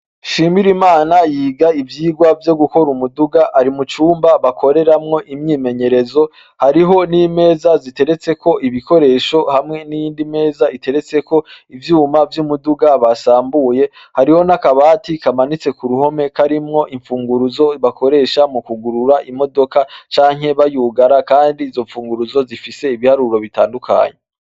SHIMIRIMANA yiga ivyigwa vyo gukora umuduga, ari mu cumba bakoreramwo imyimenyerezo. Hariho n'imeza ziteretseko ibikoresho hamwe n'iyindi meza iteretseko ivyuma vy'umuduga basambuye. Hariho n'akabati kamanitse ku ruhome karimwo imfunguruzo bakoresha mu kwugurura imodoka canke bayugara kandi izo mfunguruzo zifise ibiharuro bitandukanye.